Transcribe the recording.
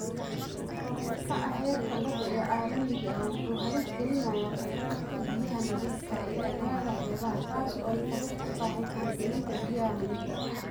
Kor u kaca heerka badda ee caalamiga ah wuxuu halis gelinayaa kheyraadka biyaha nadiifka ah ee aagagga xeebaha taas oo ay sabab u tahay faragelinta biyaha milixda ah.